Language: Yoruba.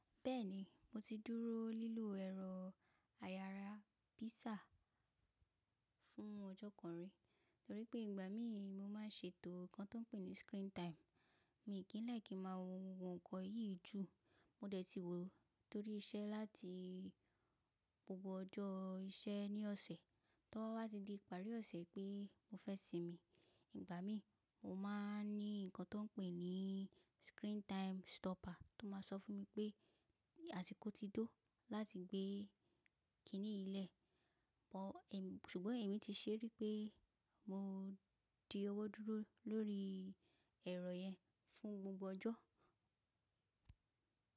Bẹ́ẹ̀ni, mo ti dúró lílo ẹ̀rọ ayára pizza fún ọjọ́ kan rí, torí pé ìgbà mí mo máa ń ṣètò nǹkan tón pè ní screen time. Mí kì í like ki máa wo nǹkan yìí jù. Mo dẹ̀ ti wò ó torí iṣẹ́ láti gbogbo ọjọ́ iṣẹ́ ní ọ̀sẹ̀. To ba wá ti di ìparí ọ̀sẹ̀ pé mo fẹ́ sinmi, ìgbà mí mo máa ń ní nǹkan tón pè ní screen time stopper tó máa ń sọ fún mi pé àsìkò ti tó láti gbé kiní yi lẹ̀. Pọ̀ ẹ̀, ṣùgbọ́n èmi ti ṣerí pé mo di ọwọ́ dúró lórí ẹ̀rọ yẹn fún gbogbo ọjọ́.